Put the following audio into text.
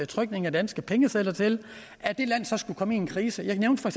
trykningen at danske pengesedler til skulle komme en krise jeg nævnte for